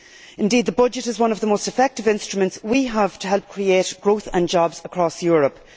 Indeed, the budget is one of the most effective instruments we have to help create growth and jobs across Europe.